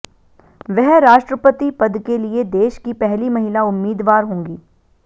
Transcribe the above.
वह राष्ट्रपति पद के लिए देश की पहली महिला उम्मीदवार होंगी